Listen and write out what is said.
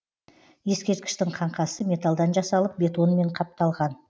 ескерткіштің қаңқасы металдан жасалып бетонмен қапталған